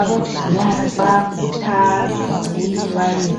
Abagulayo bayakhuthazwa ukuthi baye